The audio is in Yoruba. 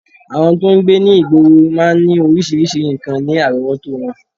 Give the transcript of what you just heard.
Àwọn tó ń gbé ní ìgboro máa ń ní oríṣiríṣi nǹkan ní àrọ́wọ́tó wọn